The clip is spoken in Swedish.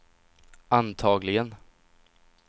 antagligen